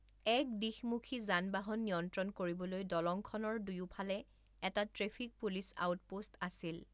এক দিশমুখী যান বাহন নিয়ন্ত্ৰণ কৰিবলৈ দলংখনৰ দুয়োফালে এটা ট্ৰেফিক পুলিচ আউটপোষ্ট আছিল।